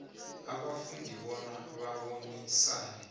abafundi bona babonisane